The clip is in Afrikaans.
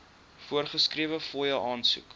voorgeskrewe fooie aansoek